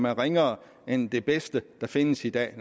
er ringere end det bedste der findes i dag